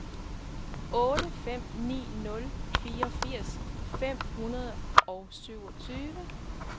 otte fem ni nul fireogfirs fem hundrede og syvogtyve